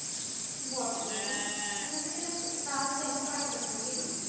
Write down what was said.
ਬੋਹਤ ਵੜਿਆ ਜੀ ਟੀ ਤੁਸੀਂ ਮੇਨੂ ਤਕਲ ਸਾਹਿਤ ਬਰੀ ਦਸੋ ਗੀ